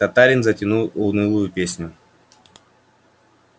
татарин затянул унылую песню